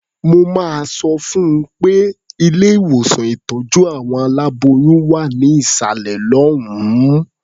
Mo máa sọ fún un pé ilé-ìwòsàn ìtọ́jú àwọn aláboyún wà ní ìsàlẹ̀ lọ́hùn-ún.